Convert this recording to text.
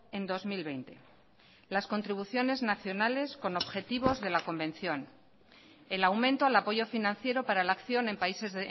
en dos mil veinte las contribuciones nacionales con objetivos de la convención el aumento al apoyo financiero para la acción en países